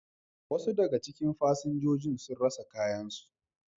Wasu daga cikin fasinjojin sun rasa kayansu.